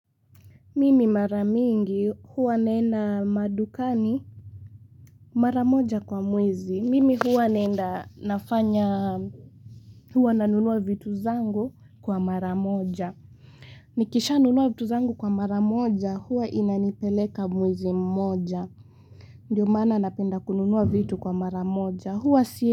Mimi maramingi huwa naenda madukani maramoja kwa mwezi. Mimi huwa naenda nafanya huwa nanunua vitu zangu kwa maramoja. Nikisha nunua vitu zangu kwa maramoja huwa inanipeleka mwezi mmoja. Ndiyo maana napenda kununua vitu kwa maramoja huwa siye.